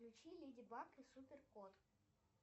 включи леди баг и супер кот